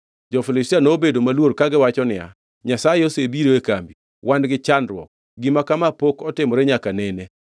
jo-Filistia nobedo maluor kagiwacho niya, “Nyasaye osebiro e kambi. Wan gi chandruok! Gima kama pok otimore nyaka nene.